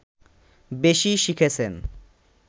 বেশি শিখেছেন